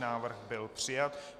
Návrh byl přijat.